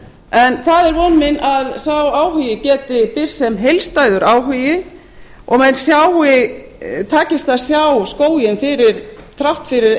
en það er von mín að sá áhugi geti birst sem heildstæður áhugi og mönnum takist að sjá skóginn þrátt fyrir